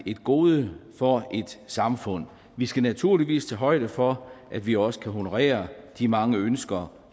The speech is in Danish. gode for et samfund vi skal naturligvis tage højde for at vi også kan honorere de mange ønsker